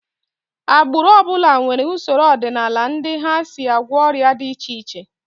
Agbụrụ ọ bụla nwere usoro ọdịnala ndị ha si agwọ ọrịa dị iche iche